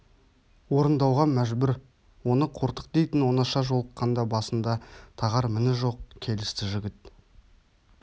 орындауға мәжбүр оны қортық дейтін оңаша жолыққанда басында тағар міні жоқ келісті жігіт